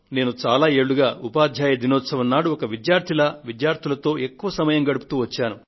నేను చాలా ఏళ్లుగా ఉపాధ్యాయ దినోత్సవం నాడు ఒక విద్యార్థి మాదిరిగా విద్యార్థులతో ఎక్కువ సమయాన్ని గడుపుతూ వచ్చాను